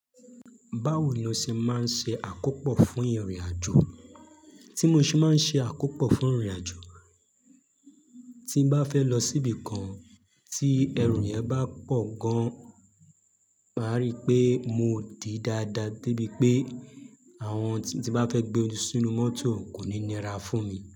Báwo ni o ṣe máa ń ṣe àkópọ̀ fún ìrìnàjò? Tí mo ṣe máa ń ṣe àkópọ̀ fún ìrìnàjò, tí bá fẹ́ lọ síbi kan tí ẹrù yẹn bá pọ̀ gan, wàá rí pé mo dí dáadáa débi pé àwọn tí bá fẹ́ gbé oju sínú mọ́tò kò ní nira fún mi.